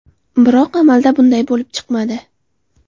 Biroq amalda bunday bo‘lib chiqmadi.